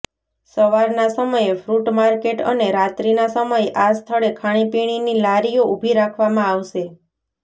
સવારના સમયે fruit market અને રાત્રિના સમયે આ સ્થળે ખાણીપીણીની લારીઓ ઉભી રાખવામાં આવશે